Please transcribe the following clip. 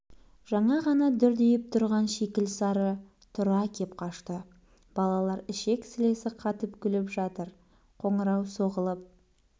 жаңа ғана дүрдиіп тұрған шикіл сары тұра кеп қашты балалар ішек-сілесі қатып күліп жатыр қоңырау соғылып